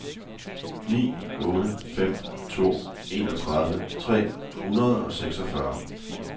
ni otte fem to enogtredive tre hundrede og seksogfyrre